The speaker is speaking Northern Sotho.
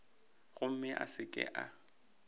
gomme a se ke a